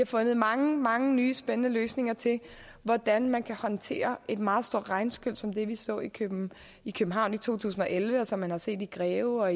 fundet mange mange nye spændende løsninger til hvordan man kan håndtere et meget stor regnskyl som det vi så i københavn i københavn i to tusind og elleve og som man har set i greve og